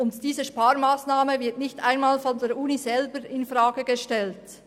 Diese wird nicht einmal von der Universität selber infrage gestellt.